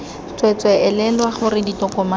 tswee tswee elelwa gore ditokomane